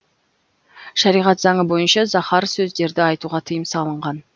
шариғат заңы бойынша заһар сөздерді айтуға тыйым салынған